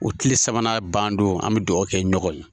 O kile sabanan ban don, an be duwawu kɛ ɲɔgɔn ye.